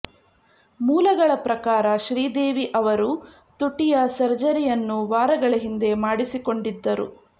ಮೂಲಗಳ ಪ್ರಕಾರ ಶ್ರೀದೇವಿ ಅವರು ತುಟಿಯ ಸರ್ಜರಿಯನ್ನು ವಾರಗಳ ಹಿಂದೆ ಮಾಡಿಸಿಕೊಂಡಿದ್ದರು